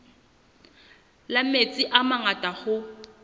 la metsi a mangata hoo